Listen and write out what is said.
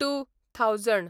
two thousand